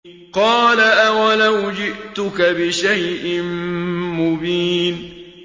قَالَ أَوَلَوْ جِئْتُكَ بِشَيْءٍ مُّبِينٍ